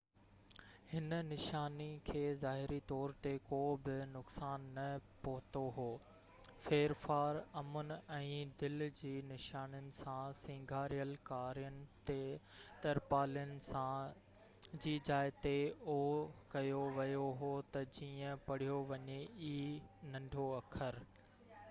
هن نشاني کي ظاهري طور تي ڪو به نقصان نہ پهتو هو ڦيرڦار امن ۽ دل جي نشانين سان سينگاريل ڪارين ترپالن سان ڪيو ويو هو تہ جيئن o جي جاءِ تي ننڍو اکر e پڙهيو وڃي